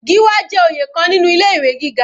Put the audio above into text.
Gíwá jẹ́ oyè kan nínú ilé ìwé gíga.